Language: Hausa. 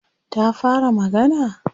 Ta fara magana?